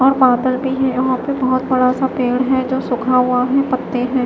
और बादल भी हैं और वह पे बहुत बड़ा सा पेड़ भी है जो सुख हुआ है पत्ते हैं।